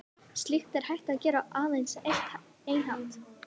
Slíkt er hægt að gera á aðeins einn hátt.